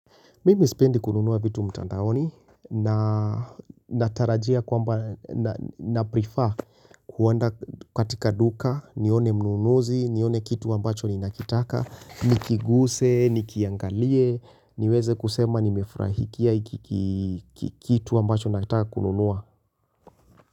Mimi spendi kununua vitu mtandaoni na natarajia kwamba naprefer kuenda katika duka, nione mnunuzi, nione kitu ambacho ninakitaka, nikiguse, nikiangalie, niweze kusema nimefrahikia kitu ambacho nataka kununua.